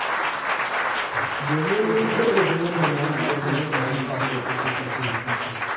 Domin wanzar da zaman lumana ya sa muka amince da buƙatarsu.